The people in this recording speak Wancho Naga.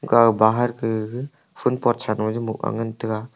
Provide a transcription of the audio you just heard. kaw bahar ke gaga phul pot sa law a bow jaw ngan taiga.